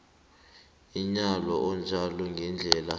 umyalo onjalo ngendlela